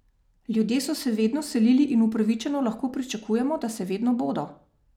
Ljudje so se vedno selili in upravičeno lahko pričakujemo, da se vedno bodo.